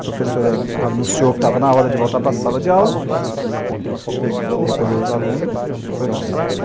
A professora anunciou que estava na hora de voltar para a sala de aula, recolheu os alunos e foi para a sala.